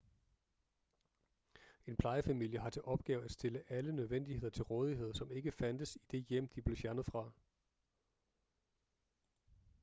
en plejefamilie har til opgave at stille alle nødvendigheder til rådighed som ikke fandtes i det hjem de blev fjernet fra